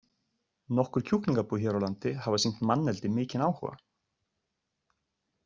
Nokkur kjúklingabú hér á landi hafa sýnt manneldi mikinn áhuga.